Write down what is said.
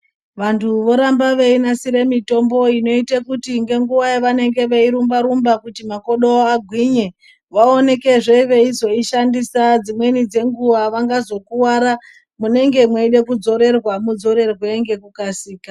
Vantu voramba veinasire mitombo inoita kuti nenguva yavanenge veirumba-rumba kuti makodo avo agwinye, vaonekezve veizoishandisa dzimweni dzenguva vangazokuvara munenge meide kuzorerwa muzorerwe ngekukasika.